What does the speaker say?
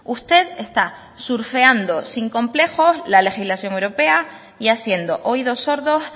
usted está surfeando sin complejos la legislación europea y haciendo oídos sordos